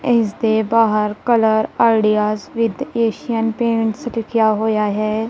ਇਸ ਦੇ ਬਾਹਰ colour ideas with Asian Paints ਲਿਖਿਆ ਹੋਇਆ ਹੈ।